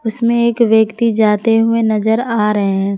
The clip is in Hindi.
इसमें एक व्यक्ति जाते हुए नजर आ रहे हैं।